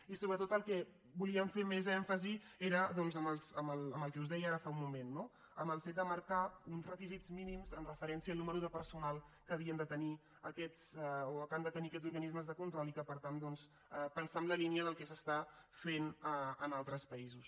i sobretot en el que volíem fer més èmfasi era en el que us deia ara fa un moment en el fet de marcar uns requisits mínims amb referència al nombre de personal que han de tenir aquests organismes de control i per tant pensar en la línia del que sestà fent en altres països